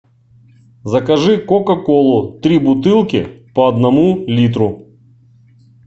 закажи кока колу три бутылки по одному литру